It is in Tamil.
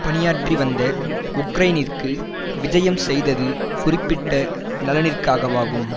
பணியாற்றிவந்த உக்ரைனிற்கு விஜயம் செய்தது குறிப்பிட்ட நலனிற்காகவாகும்